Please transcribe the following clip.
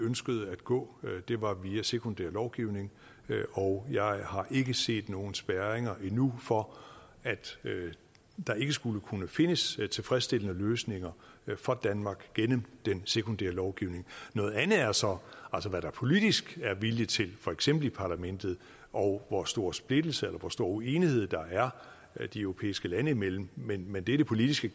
ønskede at gå var via sekundær lovgivning og jeg har ikke set nogen spærringer endnu for at der ikke skulle kunne findes tilfredsstillende løsninger for danmark gennem den sekundære lovgivning noget andet er så hvad der politisk er vilje til for eksempel i parlamentet og hvor stor splittelse eller hvor stor uenighed der er de europæiske lande imellem men men det er det politiske